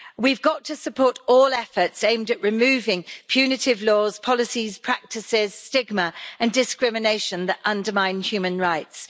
We have got to support all efforts aimed at removing punitive laws, policies, practices, stigma and discrimination that undermine human rights.